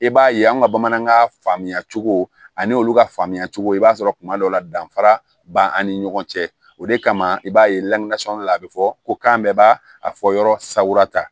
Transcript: I b'a ye an ka bamanankan faamuyacogo ani olu ka faamuya cogo i b'a sɔrɔ kuma dɔw la danfara b'an ni ɲɔgɔn cɛ o de kama i b'a ye a be fɔ ko k'an bɛɛ b'a a fɔ yɔrɔ sagura ta